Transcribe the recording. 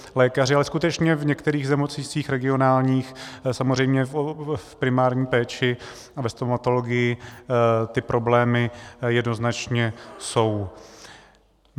Ale skutečně v některých nemocnicích regionálních samozřejmě v primární péči a ve stomatologii ty problémy jednoznačně jsou.